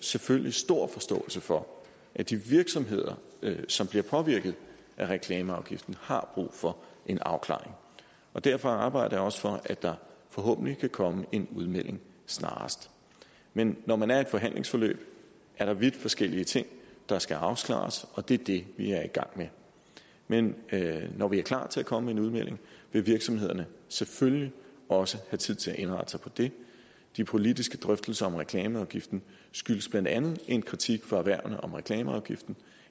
selvfølgelig stor forståelse for at de virksomheder som bliver påvirket af reklameafgiften har brug for en afklaring derfor arbejder jeg også for at der forhåbentlig kan komme en udmelding snarest men når man er i et forhandlingsforløb er der vidt forskellige ting der skal afklares og det er det vi er i gang med men når vi er klar til at komme med en udmelding vil virksomhederne selvfølgelig også have tid til at indrette sig på det de politiske drøftelser om reklameafgiften skyldes blandt andet en kritik fra erhvervene om reklameafgiften